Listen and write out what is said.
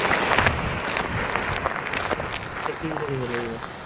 Checking কৰিব লাগিব?